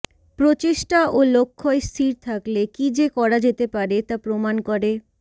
প্রচেষ্টা ও লক্ষ্য় স্থির থাকলে কী যে করা যেতে পারে তা প্রমাণ করে